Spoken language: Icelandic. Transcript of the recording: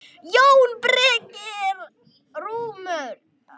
JÓN BEYKIR: Rúmur!